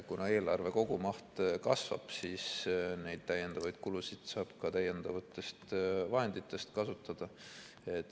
Kuna eelarve kogumaht kasvab, siis neid täiendavaid kulusid saab ka täiendavatest vahenditest kasutada.